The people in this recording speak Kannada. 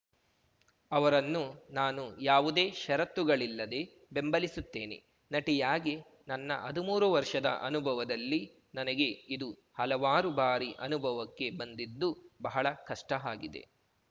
ಅವರನ್ನು ನಾನು ಯಾವುದೇ ಷರತ್ತುಗಳಿಲ್ಲದೆ ಬೆಂಬಲಿಸುತ್ತೇನೆ ನಟಿಯಾಗಿ ನನ್ನ ಹದ್ಮೂರು ವರ್ಷದ ಅನುಭವದಲ್ಲಿ ನನಗೆ ಇದು ಹಲವಾರು ಬಾರಿ ಅನುಭವಕ್ಕೆ ಬಂದಿದ್ದು ಬಹಳ ಕಷ್ಟಆಗಿದೆ